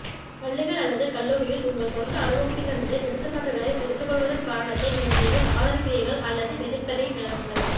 பள்ளிக்கல் அல்லது கல்லூரியில் உங்கள் சொந்த அனுபவத்திலிருந்து எடுத்துக்காட்டுகளை எடுத்துக்கொள்வதன் காரணத்தை நீங்கள் ஏன் ஆதரிக்கிறீர்கள் அல்லது எதிர்ப்பதை விளக்குங்கள்